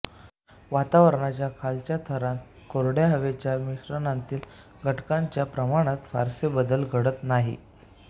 वातावरणाच्या खालच्या थरांत कोरड्या हवेच्या मिश्रणातील घटकांच्या प्रमाणात फारसे बदल घडत नाहीत